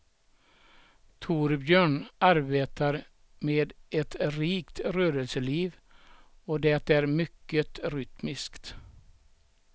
Torbjörn arbetar med ett rikt rörelseliv och det är mycket rytmiskt.